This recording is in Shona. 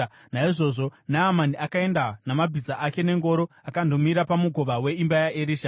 Naizvozvo Naamani akaenda namabhiza ake nengoro akandomira pamukova weimba yaErisha.